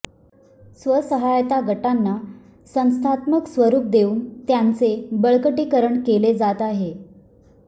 स्वसहाय्यता गटांना संस्थात्मक स्वरुप देऊन त्यांचे बळकटीकरण केले जात आहे